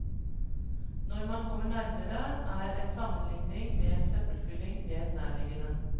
Når man kommer nærmere, er en sammenlikning med en søppelfylling mer nærliggende.